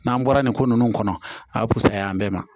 N'an bɔra nin ko ninnu kɔnɔ a bɛ pusaya an bɛɛ ma